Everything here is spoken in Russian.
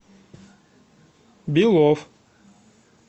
белов